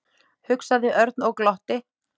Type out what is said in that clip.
hugsaði Örn og glotti.